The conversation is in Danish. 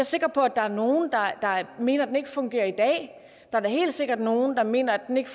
sikker på at der er nogle der mener at den ikke fungerer i dag og der er da helt sikkert nogle der mener at den ikke